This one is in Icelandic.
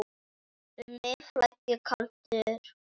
Um mig flæddi kaldur bjór.